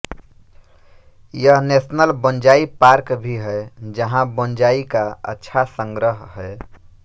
यहां national bonsai park भी है जहां बोंज़ाई का अच्छा संग्रह है